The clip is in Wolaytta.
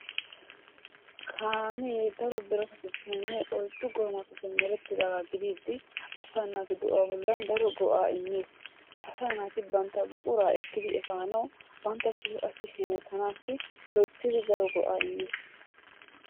Kaame daro biratatuppene oyiddu goomatuppe meretidaga gidiidi asa naatu de'uwaa bollan daro go'aa immes. Asaa naati bantta buqqura ekidi efanawu bantasikka qassi hemettanasi loyttidi daro go'aa immes.